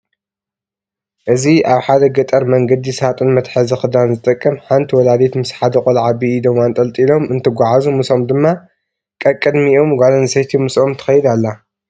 እዚ አብ ሐደገጠር መንገዲ ሳጡን መተሐዚ ክዳን ዝጠቅም ሐንቲ ወላዲት ምስ ሐደ ቆልዓ ብኢዶ አንጠልጢሎም እንትጎዓዙ ምስኦም ድማ ቀቅድሚኦም ጓላንስተይቲ ምስኦም ትኸይድ አላ።